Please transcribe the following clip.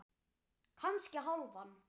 Kannski hálfan.